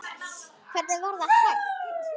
Hvernig var það hægt?